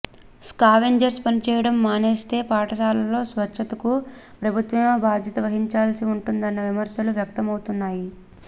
scavengers పనిచేయడం మానేస్తే పాఠశాలల్లో స్వచ్ఛతకు ప్రభుత్వమే బాధ్యత వహించాల్సి ఉంటుందన్న విమర్శలు వ్యక్తమవుతున్నాయి